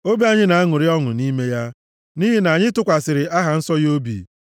Obi anyị na-aṅụrị ọṅụ nʼime ya; nʼihi na anyị tụkwasịrị aha nsọ ya obi.